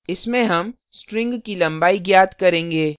इसमें हम string की लंबाई ज्ञात करेंगे